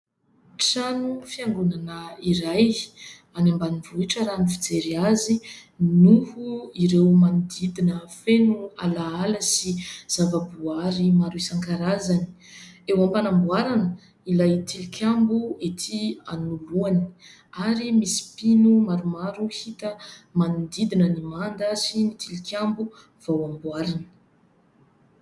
Trano fiangonana iray any ambanivohitra raha ny fijery azy noho ireo manodidina feno ala ala sy zava-boaary maro isan-karazany. Eo am-panamboarana ilay tilikambo etỳ anoloany ary misy mpino maromaro hita manodidina ny manda sy ny tilikambo vao amboarina.